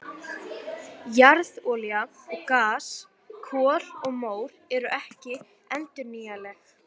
Jarðolía og gas, kol og mór eru ekki endurnýjanleg.